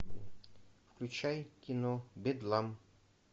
включай кино бедлам